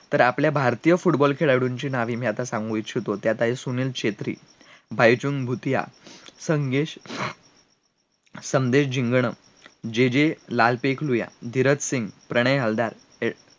तर आपल्या भारतीय football खेळाळूनचे नावे मी आता सांगू इच्छितो त्यात आहे सुनीलछेत्रीबायचुंगभुटिया संदेशजिंगदांजेजेलालसूगयाधीरजसिंगप्रणयहलदार